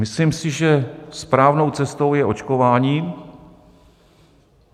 Myslím si, že správnou cestou je očkování.